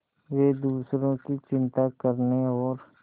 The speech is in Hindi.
वे दूसरों की चिंता करने और